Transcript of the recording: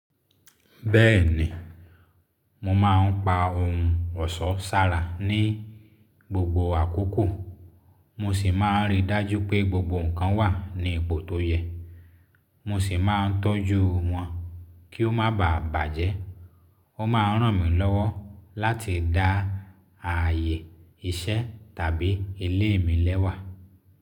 Bẹ́ẹ̀ ni, mo máà ń pa ohun ọ̀ṣọ́ sára ní gbogbo àkókò, mo sì máa ń rí i dájú pé gbogbo nǹkan wà ní ipò tó yẹ, mo sì máa ń tọ́jú wọn kí ó má bàà bàjẹ́. Ó máa ń ràn mí lọ́wọ́ láti dá ààyè iṣẹ́ tàbí ilé mi lẹ́wà.